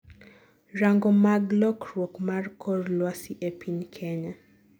rango mag lokruok mar kor lwasi e piny kenya